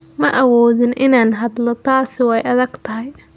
Ma awoodin inaan hadlo, taasi way adag tahay.